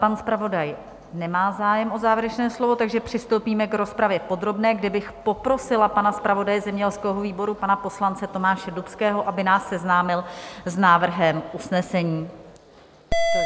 Pan zpravodaj nemá zájem o závěrečné slovo, takže přistoupíme k rozpravě podrobné, kde bych poprosila pana zpravodaje zemědělského výboru, pana poslance Tomáše Dubského, aby nás seznámil s návrhem usnesení.